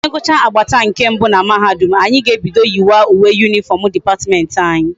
Anyi gucha agbata nke mbe na mahadum, anyi ga ebido yi wa uwe uniform department anyi